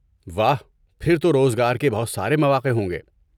واہ! پھر تو روزگار کے بہت سارے مواقع ہوں گے۔